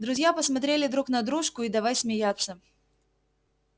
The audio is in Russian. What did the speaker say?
друзья посмотрели друг на дружку и давай смеяться